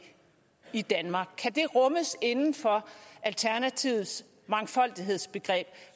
i danmark kan det rummes inden for alternativets mangfoldighedsbegreb